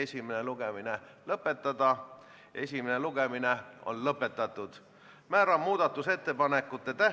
Esitatud on neli muudatusettepanekut majanduskomisjonilt ja juhtivkomisjoni ettepanek on arvestada kõiki täielikult.